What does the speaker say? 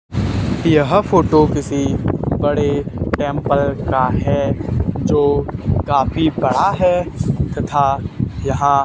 यह फोटो किसी बड़े टेंपल का है जो काफी बड़ा है तथा यहां--